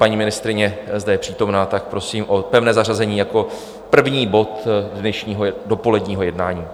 Paní ministryně zde je přítomna, tak prosím o pevné zařazení jako prvního bodu dnešního dopoledního jednání.